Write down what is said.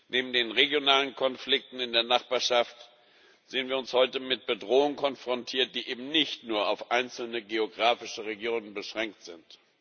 Neben den regionalen Konflikten in der Nachbarschaft sehen wir uns heute mit Bedrohungen konfrontiert, die eben nicht nur auf einzelne geografische Regionen beschränkt sind.